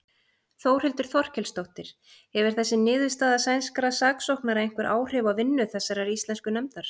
Þórhildur Þorkelsdóttir: Hefur þessi niðurstaða sænskra saksóknara einhver áhrif á vinnu þessarar íslensku nefndar?